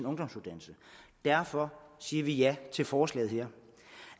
ungdomsuddannelse derfor siger vi ja til forslaget her